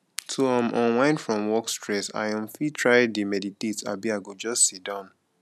to um unwind from work stress i um fit try dey meditate abi i go just sit down